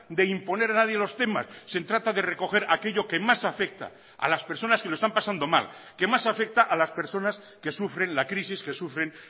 de imponer a nadie los temas se trata de recoger aquello que más afecta a las personas que lo están pasando mal que más afecta a las personas que sufren la crisis que sufren